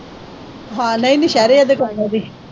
ਨਹੀਂ, ਨਹੀਂ,